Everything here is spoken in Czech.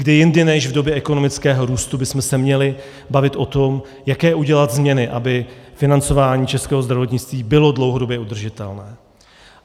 Kdy jindy než v době ekonomického růstu bychom se měli bavit o tom, jaké udělat změny, aby financování českého zdravotnictví bylo dlouhodobě udržitelné?